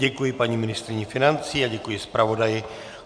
Děkuji paní ministryni financí a děkuji zpravodaji.